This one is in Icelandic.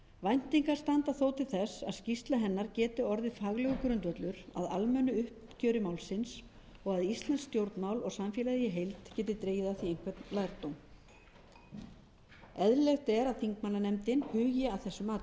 væntingar standa þó til þess að skýrsla hennar geti orðið faglegur grundvöllur að almennu uppgjöri málsins og að íslensk stjórnmál og samfélagið í heild geti dregið af því einhvern lærdóm eðlilegt er að þingmannanefndin hugi að þessum